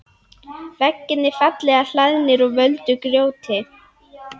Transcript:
Veggirnir fallega hlaðnir úr völdu grjóti.